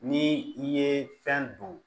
Ni i ye fɛn don